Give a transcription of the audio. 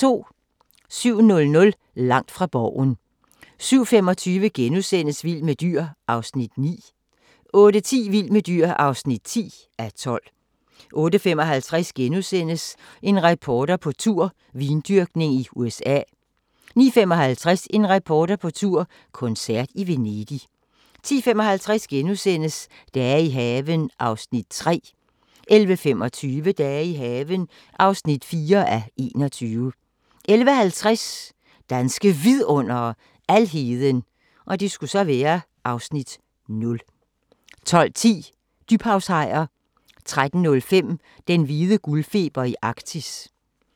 07:00: Langt fra Borgen 07:25: Vild med dyr (9:12)* 08:10: Vild med dyr (10:12) 08:55: En reporter på tur - vindyrkning i USA * 09:55: En reporter på tur – koncert i Venedig 10:55: Dage i haven (3:21)* 11:25: Dage i haven (4:21) 11:50: Danske Vidundere: Alheden (Afs. 0) 12:10: Dybhavshajer 13:05: Den hvide guldfeber i Arktis